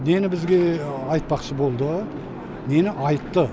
нені бізге айтпақшы болды нені айтты